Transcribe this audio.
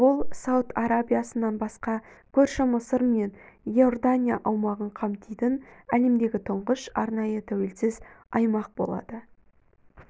бұл сауд арабиясынан басқа көрші мысыр мен иордания аумағын қамтитын әлемдегі тұңғыш арнайы тәуелсіз аймақ болады